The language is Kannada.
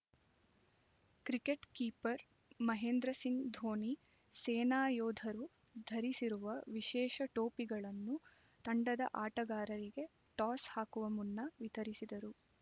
ಕ್ರಿಕೆಟ್ ಕಿಪರ್ ಮಹೇಂದ್ರ ಸಿಂಗ್ ಧೋನಿ ಸೇನಾ ಯೋಧರು ಧರಿಸುವ ವಿಶೇಷ ಟೋಪಿಗಳನ್ನು ತಂಡದ ಆಟಗಾರರಿಗೆ ಟಾಸ್ ಹಾಕುವ ಮುನ್ನ ವಿತರಿಸಿದರು